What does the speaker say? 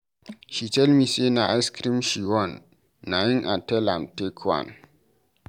She tell me say na ice-cream she want na im I tell am take one.